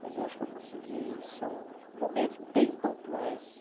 Mas eu acho que eu consegui... São momentos bem pontuais.